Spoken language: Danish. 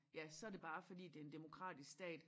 Ja så det bare fordi det en demokratisk stat